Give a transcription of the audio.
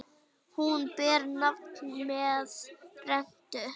Hún ber nafn með rentu.